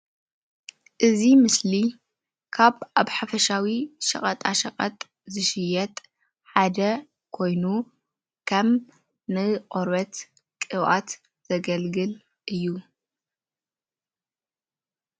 እዚ ምስሊ ካብ ኣብ ሓፈሻዊ ሸቀጣ ሸቀጥ ዝሽየጥ ሓደ ኮይኑ ከም ንቆርበት ቅብኣት ዘገልግል እዩ፡፡